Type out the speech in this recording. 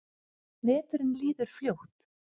Veturinn líður fljótt.